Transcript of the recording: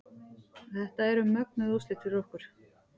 Þetta eru mögnuð úrslit fyrir okkur